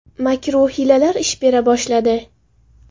Makr-u hiylalar ish bera boshladi.